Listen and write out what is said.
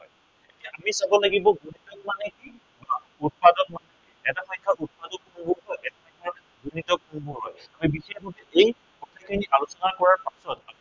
আমি চাব লাগিব গুণিতক মানে কি বা উৎপাদক মানে কি? এটা সংখ্য়া উৎপাদক হলে আনটো সংখ্য়া গুনিতক হয়। এই গোটেইখিনি আলোচনা কৰাৰ পাছত